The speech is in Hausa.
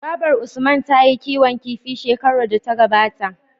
Babar usman tayi kiwon kifi shekarar da ta gabata